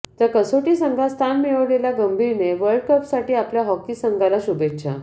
तर कसोटी संघात स्थान मिळवलेल्या गंभीरने वर्ल्डकपसाठी आपल्या हॉकी संघाला शुभेच्छा